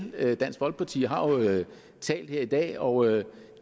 dansk folkeparti har jo talt her i dag og